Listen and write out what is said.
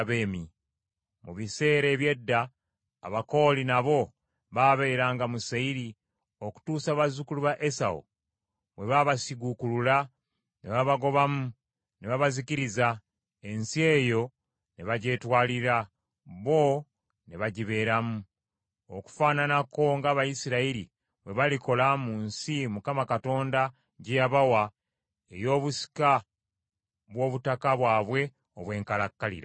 Mu biseera eby’edda Abakooli nabo baabeeranga mu Seyiri, okutuusa bazzukulu ba Esawu bwe baabasiguukulula ne babagobamu ne babazikiriza, ensi eyo ne bagyetwalira, bo ne bagibeeramu; okufaananako ng’Abayisirayiri bwe balikola mu nsi Mukama Katonda gye yabawa ey’obusika bw’obutaka bwabwe obw’enkalakkalira.